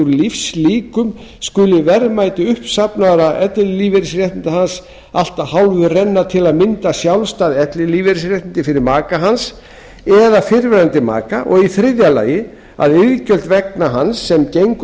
lífslíkum skuli verðmæti uppsafnaðra ellilífeyrisréttinda hans allt að hálfu renna til að mynda sjálfstæð ellilífeyrisréttindi fyrir maka hans eða fyrrverandi maka og í þriðja lagi að iðgjald vegna hans sem gengur